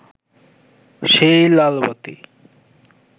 সেই লালবাতি